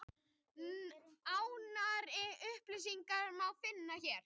Nánari upplýsingar má finna hér.